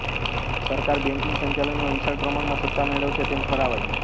સરકાર બેંકિંગ સંચાલનમાં વિશાળ પ્રમાણમાં સત્તા મેળવશે તેમ ઠરાવાયું